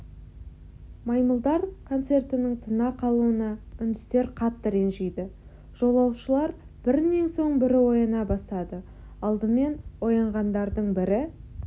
маймылдар концертінің тына қалуына үндістер қатты ренжиді жолаушылар бірінен соң бірі ояна бастады алдымен оянғандардың бірі